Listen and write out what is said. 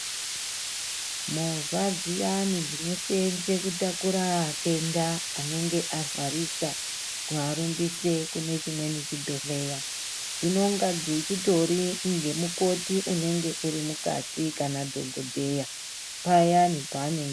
Movha dziyani dzinoseenze kutakura atenda anenge arwarisa kuarumbise kune chimweni chibhrhleya. Dzinonga dzichitori ngemukoti unenge uri mukati kana dhokodheya payani paane...